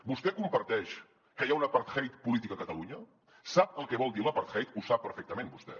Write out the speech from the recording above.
vostè comparteix que hi ha un apartheid polític a catalunya sap el que vol dir l’apartheid ho sap perfectament vostè